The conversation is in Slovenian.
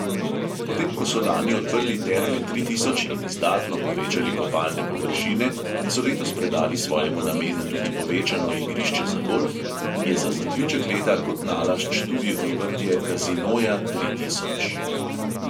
Potem ko so lani odprli terme tri tisoč in izdatno povečali kopalne površine in so letos predali svojemu namenu tudi povečano igrišče za golf, je za zaključek leta kot nalašč tudi odprtje kazinoja tri tisoč.